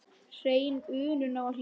Hrein unun á að hlýða.